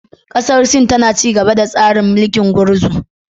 Kasar Sin tana ci gaba da tsarin mulkin gurguzu.